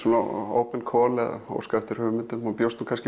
open eða óskað eftir hugmyndum ég bjóst